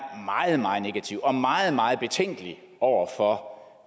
meget meget negative og meget meget betænkelig over for